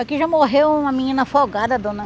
Aqui já morreu uma menina afogada, dona.